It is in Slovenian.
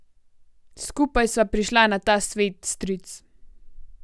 Skupaj sva prišla na ta svet, stric.